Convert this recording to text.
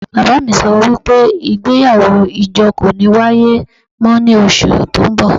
Baba mi so wipe igbeyawo ijo ko ni waye mo ni osu to nbo